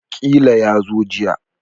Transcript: Ƙila yazo jiya